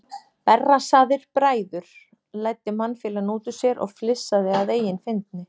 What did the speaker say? Berrassaðir bræður, læddi mannfýlan út úr sér og flissaði að eigin fyndni.